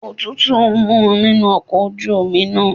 Òtútù ń mu nínú ọkọ̀ ojú omi náà.